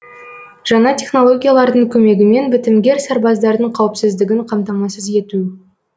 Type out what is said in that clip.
жаңа технологиялардың көмегімен бітімгер сарбаздардың қауіпсіздігін қамтамасыз ету